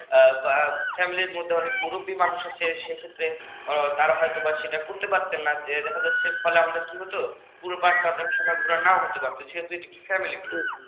উম family র মধ্যে অনেক মুরুব্বী মানুষ আছে সে ক্ষেত্রে যে তারা হয়তো দাঁড়ায় থাকতো সেটা ঘুরতে পারতো না যে হচ্ছে ফলে আমাদের কি হতো পুরো park টা ঘোড়া নাও হতে পারত যেহেতু এটা একটি family tour